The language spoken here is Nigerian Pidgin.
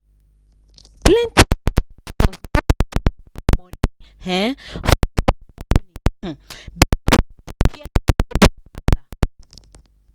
plenty investors no dey quick drop money um for small company um because dem dey fear fraud wahala.